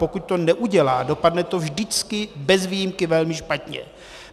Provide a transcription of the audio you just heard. Pokud to neudělá, dopadne to vždycky bez výjimky velmi špatně.